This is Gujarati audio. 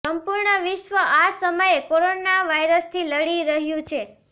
સંપૂર્ણ વિશ્વ આ સમયે કોરોના વાયરસથી લડી રહ્યું છે